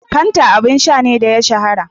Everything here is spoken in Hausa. Fanta abun sha ne da ya shahara